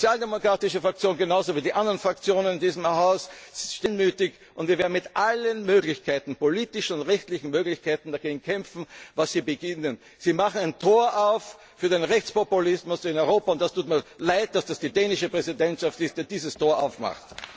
wir ab. Die sozialdemokratische Fraktion steht, genauso wie die anderen Fraktionen in diesem Haus, einmütig, und wir werden mit allen Möglichkeiten politischen und rechtlichen Möglichkeiten gegen das kämpfen, was Sie beginnen. Sie machen ein Tor auf für den Rechtspopulismus in Europa. Es tut mir Leid, dass es die dänische Präsidentschaft ist, die dieses Tor aufmacht.